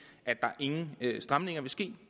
at der ingen stramninger vil ske